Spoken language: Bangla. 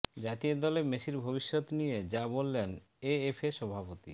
জাতীয় দলে মেসির ভবিষ্যৎ নিয়ে যা বললেন এএফএ সভাপতি